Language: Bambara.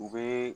U bɛ